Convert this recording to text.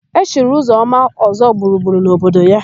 E chiri Ụzọma Ọ́zọ́gburugburu n'obodo ya.